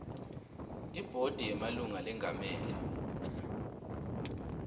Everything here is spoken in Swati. ibhodi yemalunga lengamele